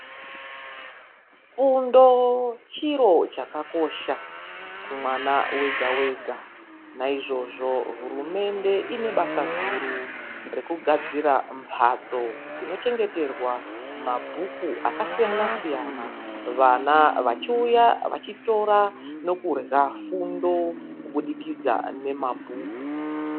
Fundo chiro chakakosha kumwana wega wega. Naizvozvo hurumende inebasa guru rekugadzira mbatso dzinochengeterwa mabhuku akasiyana siyana,, vana vachiuya vachitora nokurya fundo kubudikidza nemabhuku.